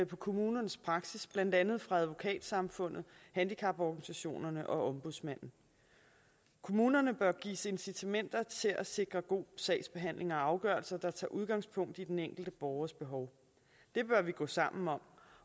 på kommunernes praksis blandt andet fra advokatsamfundet handicaporganisationerne og ombudsmanden kommunerne bør gives incitamenter til at sikre god sagsbehandling og afgørelser der tager udgangspunkt i den enkelte borgers behov det bør vi gå sammen om